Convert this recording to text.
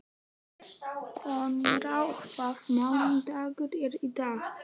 Konráð, hvaða mánaðardagur er í dag?